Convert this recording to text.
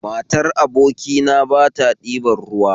Matar abokina bata ɗiban ruwa